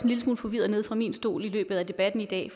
lille smule forvirret nede fra min stol i løbet af debatten i dag